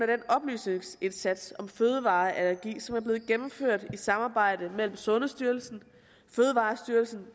den oplysningsindsats om fødevareallergi som er blevet gennemført i samarbejde mellem sundhedsstyrelsen fødevarestyrelsen